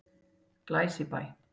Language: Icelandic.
Glæsibæ